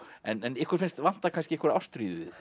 en ykkur finnst vanta kannski einhverja ástríðu í